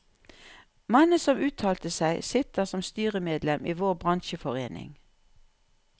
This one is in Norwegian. Mannen som uttalte seg, sitter som styremedlem i vår bransjeforening.